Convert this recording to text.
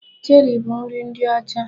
Cheri bụ nri ndị ọcha.